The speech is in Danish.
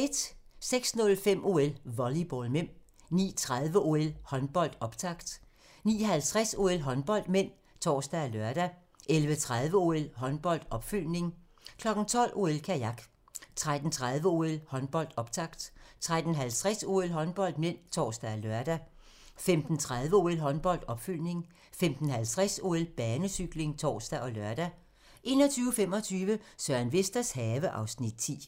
06:05: OL: Volleyball (m) 09:30: OL: Håndbold, optakt 09:50: OL: Håndbold (m) (tor og lør) 11:30: OL: Håndbold, opfølgning 12:00: OL: Kajak 13:30: OL: Håndbold, optakt 13:50: OL: Håndbold (m) (tor og lør) 15:30: OL: Håndbold, opfølgning 15:50: OL: Banecykling (tor og lør) 21:25: Søren Vesters have (Afs. 10)